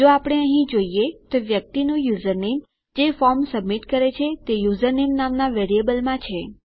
જો આપણે અહીં જોઈએ તો વ્યક્તિનું યુઝરનેમ જે ફોર્મ સબમિટ કરે છે તે યુઝરનેમ નામના વેરીએબલમાં છે